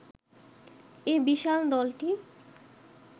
এ বিশাল দলটি